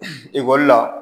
Ekɔli la